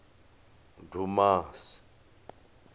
dumasi